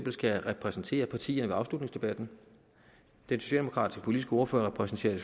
skal repræsentere partierne ved afslutningsdebatten den socialdemokratiske politiske ordfører repræsenterer